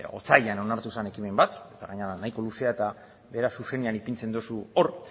otsailean onartu zen ekimen bat eta gainera nahiko luzea eta era zuzenean ipintzen duzu hor